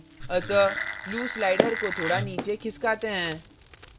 अतः blue slider को थोड़ा नीचे खिसकाते हैं